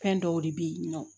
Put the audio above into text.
Fɛn dɔw de bɛ yen nɔ